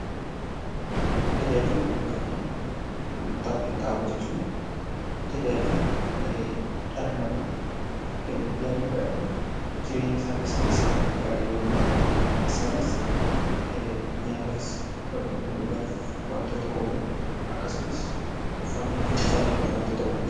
Tajaajila bu'uuraa fi gurgurtaa qinxaaboo jechuun tajaajila dhala namaa guyyaa guyyaadhan jireenyasaa keessatti isaan gargaaran yemmuu ta'an isaanis nyaatafis yookin immoo dhugaatif wantoota oolan akkasumas uffannof uffannaaf wantoota oolan jechuudha.